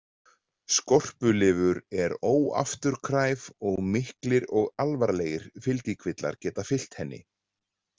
Skorpulifur er óafturkræf og miklir og alvarlegir fylgikvillar geta fylgt henni.